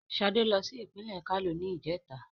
Ṣadé lọ sí ìpínlè Kano ní ìjẹ́ta.